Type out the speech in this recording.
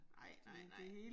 Nej nej nej